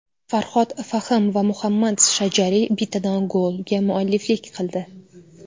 Farhod Fahim va Muhammad Shajari bittadan golga mualliflik qildi.